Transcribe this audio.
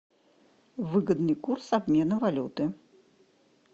выгодный курс обмена валюты